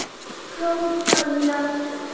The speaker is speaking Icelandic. hrópaði ég aftur.